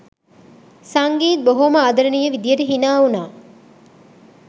සංගීත් බොහෝම ආදරණීය විදියට හිනාවුණා